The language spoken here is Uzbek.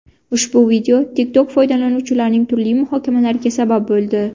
Ushbu video TikTok foydalanuvchilarining turli muhokamalariga sabab bo‘ldi.